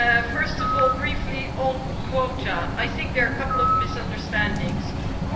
First of all briefly on quotas I think there are a couple of misunderstandings here.